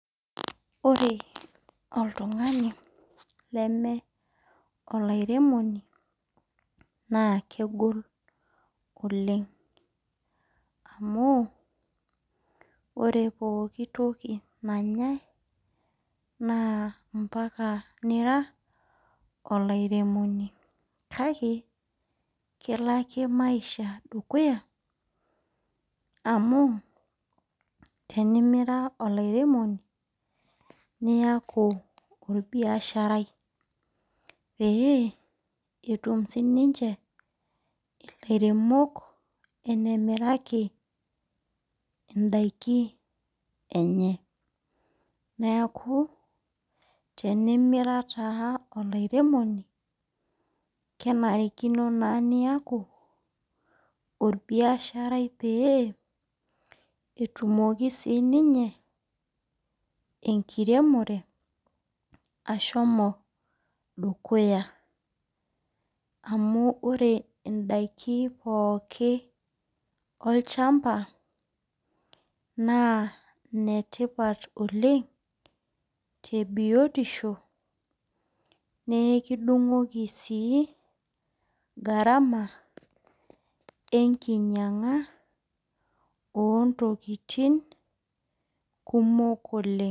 Ore oltung'ani leme olairemoni, naa kegol oleng. Amu, ore pooki toki nanyai, naa mpaka nira olairemoni. Kake, kelo ake maisha dukuya amu, tenimira olairemoni, niaku orbiasharai. Pee, etum sininche ilairemok enemiraki idaiki enye. Neeku, tenimira taa olairemoni, kenarikino naa niaku, orbiasharai pee etumoki sininye enkiremore ashomo dukuya. Amu ore idaiki pooki olchamba, naa netipat oleng, tebiotisho nekidung'oki si gharama enkinyang'a ontokiting kumok oleng.